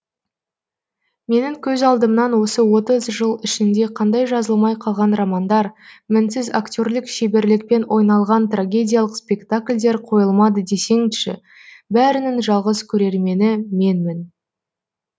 менің көз алдымнан осы отыз жыл ішінде қандай жазылмай қалған романдар мінсіз акте рлік шеберлікпен ойналған трагедиялық спектакльдер қойылмады десеңші бәрінің жалғыз көрермені менмін